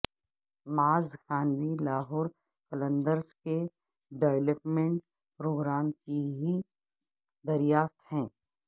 معاذ خان بھی لاہور قلندرز کے development programme کی ہی دریافت ہیں